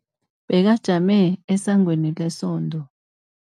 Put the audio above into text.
Bekajame esangweni lesonto.